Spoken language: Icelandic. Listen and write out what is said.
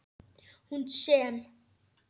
Hún sem.